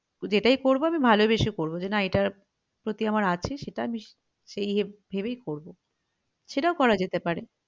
তো সেটাই করবো আমি ভালোবেসে করবো যে না এটার প্রতি আমার আছে সেটা আমি সেই ভেবেই করবো সেটাও করা যেতে পারে